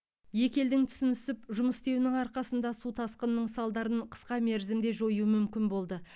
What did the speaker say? екі елдің түсінісіп жұмыс істеуінің арқасында су тасқынының салдарын қысқа мерзімде жою мүмкін болды